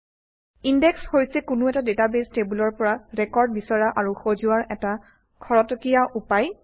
index হৈছে কোনো এটা ডাটাবেছ টেবুলৰ পৰা ৰেকৰ্ড বিচৰা আৰু সজোৱাৰ এটা খৰতকীয়া উপায়